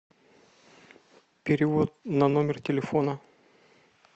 перевод на номер телефона